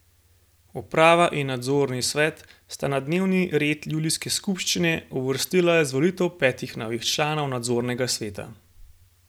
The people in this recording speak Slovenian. Uprava in nadzorni svet sta na dnevni red julijske skupščine uvrstila izvolitev petih novih članov nadzornega sveta.